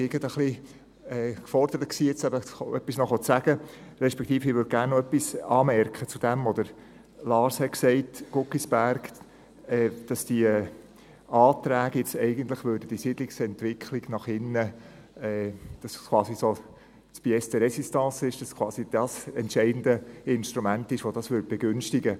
Ich war gerade gefordert, noch etwas zu sagen respektive, ich würde gerne noch etwas anmerken zur Aussage von Lars Guggisberg, und zwar, dass die Anträge eigentlich die Siedlungsentwicklung nach innen, welche eigentlich die Pièces de Réstistance ist, dass diese quasi das entscheidende Instrument sind, um dies zu begünstigen.